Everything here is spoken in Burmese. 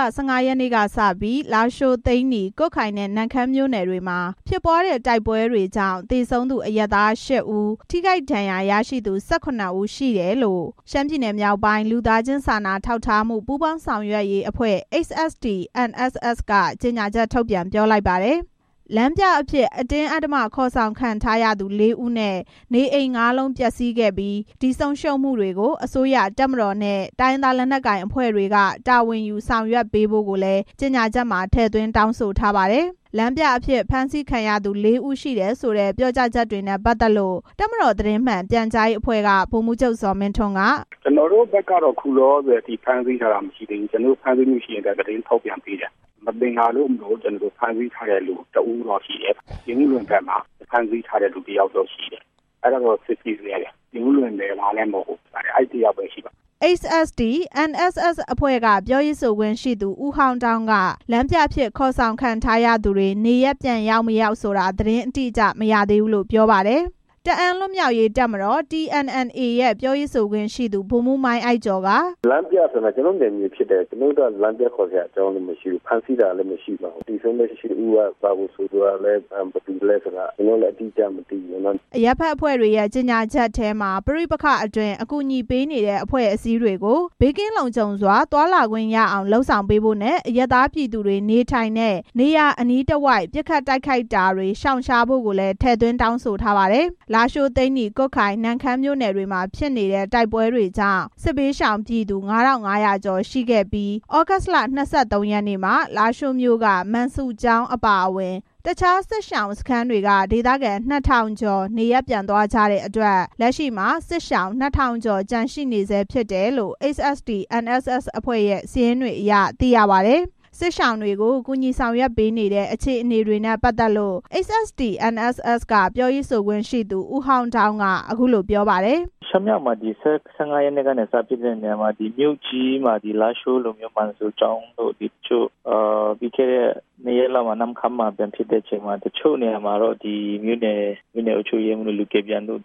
လ ၁၅ ရက်နေ့ကစပြီး လားရှိုး၊ သိန်းနီ၊ ကွတ်ခိုင်နဲ့ နမ့်ခမ်းမြို့နယ်တွေမှာ ဖြစ်ပွားတဲ့ တိုက်ပွဲတွေကြောင့် သေဆုံးသူ အရပ်သား ရှစ်ဦး၊ ထိခိုက်ဒဏ်ရာရသူ ၁၇ ဦး၊ လမ်းပြအဖြစ်အတင်းအဓ္ဓမဖမ်းဆီး ခေါ်ဆောင်ခံရသူ လေးဦးရှိတယ်လို့ ရှမ်းပြည်နယ်( မြောက်ပိုင်း) လူသားချင်း စာနာထောက်ထားမှု ပူးပေါင်းဆောင်ရွက်ရေးအဖွဲ့က ကြေညာချက် ထုတ်ပြန်လိုက်ပါတယ်။ ဒါ့အပြင် လမ်းပြအဖြစ်အတင်းအဓ္ဓမခေါ်ဆောင်ခံ ထားရသူ လေးဦးနဲ့ နေအိမ် ငါးလုံး ပျက်စီးခဲ့ပြီး ဒီဆုံးရှုံးမှုတွေကို အစိုးရ၊ တပ်မတော်နဲ့ တိုင်းရင်းသား လက်နက်ကိုင်အဖွဲ့တွေက တာဝန်ယူ ဆောင်ရွက်ပေးဖို့ကိုလည်း တောင်းဆိုထားပါတယ်။ လမ်းပြအဖြစ် ဖမ်းဆီးခံထားရသူ လေးဦးရှိတယ်ဆိုတဲ့ ပြောကြားချက်နဲ့ ပတ်သက်လို့ တပ်မတော်သတင်း မှန်ပြန်ကြားရေးအဖွဲ့က ဗိုလ်မှူးချုပ် ဇော်မင်းထွန်းက “ကျနော်တို့ဘက်က အခုလောလောဆယ် ဖမ်းဆီးထားတာ မရှိသေးဘူး။ ဖမ်းဆီးထားလို့ရှိရင်လည်း သတင်းထုတ်ပြန်ပေးတယ်။ မသင်္ကာလို့မို့ ဖမ်းဆီးထားတဲ့သူ တစ်ဦးတော့ရှိတယ်။ ပြင်ဦးလွင်ဘက်မှာ။ အဲဒါကတော့ စစ်ဆေးဆဲ။ ပြင်ဦးလွင်နယ်သားလည်း မဟုတ်ဘူး။ အဲဒီတစ်ယောက်တော့ ရှိပါတယ်” HST-NSS အဖွဲ့က ပြောရေးဆိုခွင့်ရှိသူ ဦးဟောင်းဒေါင်းက လမ်းပြအဖြစ်ခေါ်ဆောင်ခံထားရသူတွေ နေရပ်ပြန်ရောက်မရောက်ဆိုတာ သတင်းအတိအကျ မသိရသေးဘူးလို့ ပြောပါတယ်။ တအာင်းလွတ်မြောက်ရေး တပ်မတော် TNLA ပြောရေးဆိုခွင့်ရှိသူ ဗိုလ်မှူး မိုင်းအိုက်ကျော်က “ကျနော်တို့ နယ်မြေဖြစ်တယ်။ လမ်းပြခေါ်စရာအကြောင်း မရှိဘူး။ ဖမ်းဆီးထားတဲ့သူလည်း မရှိဘူး။ သေဆုံးတဲ့ ရှစ်ဦးက ဘယ်သူလည်း ဘယ်ကလည်းဆိုတာ ကျနော်တို့လည်း အတိအကျမသိဘူး” အရပ်ဖက်အဖွဲ့တွေရဲ့ ကြေညာချက်ထဲမှာ ပဋိပက္ခအတွင်း အကူအညီပေးနေတဲ့အဖွဲ့အစည်းတွေကို ဘေးကင်းလုံခြုံစွာ သွားလာခွင့်ရအောင် လုပ်ဆောင်ပေးဖို့နဲ့ အရပ်သားပြည်သူတွေနေထိုင်တဲ့ နေရာအနီးတဝိုက် ပစ်ခတ်တိုက်ခိုက်တာတွေ ရှောင်ရှားဖို့ကိုလည်း ထည့်သွင်းတောင်းဆိုထားပါတယ်။ လားရှိုး၊ သိန်းနီ၊ ကွတ်ခိုင်၊ နမ့်ခမ်းမြို့နယ်တွေမှာ ဖြစ်နေတဲ့ တိုက်ပွဲကြောင့် စစ်ဘေးရှောင်ပြည်သူ ၅၅၀၀ ကျော်ရှိခဲ့ပြီး သြဂုတ်လ ၂၃ ရက်နေ့မှာ လားရှိုးမြို့က မန်ဆူကျောင်းအပါအဝင် အခြားစစ်ရှောင်စခန်းတွေက ဒေသခံ ၂၀၀၀ ကျော် နေရပ်ပြန်သွားကြတဲ့အတွက် လက်ရှိမှာ စစ်ရှောင် ၂၀၀၀ ကျော်ကျန်ရှိနေဆဲ ဖြစ်တယ်လို့ (HST-NSS) အဖွဲ့ရဲ့ စာရင်းတွေအရ သိရပါတယ်။ စစ်ရှောင်တွေကို ကူညီဆောင်ရွက်ပေးနေတဲ့ အခြေအနေတွေနဲ့ပတ်သက်လို့ (HST-NSS) က ပြောရေးဆိုခွင့်ရှိ သူ ဦးဟောင်းဒေါင်းက အခုလို ပြောပါတယ်။ “၁၅ ရက်နေ့ကစပြီး ရှမ်းမြောက်မှာဖြစ်တဲ့နေရာမှာ လားရှိုးလိုမျိုး မန်ဆူကျောင်းတို့၊ ပြီးခဲ့တဲ့ ၂ ရက်လောက်က နမ့်ခမ်းမှာ ပြန်ဖြစ်တဲ့အခါမှာ တချို့နေရာမှာ မြို့နယ်အုပ်ချုပ်ရေးမှူးတို့၊ လူကယ်ပြန်တို့